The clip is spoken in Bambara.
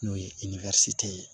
N'o ye ye